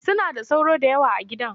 Suna da sauro da yawa a gidan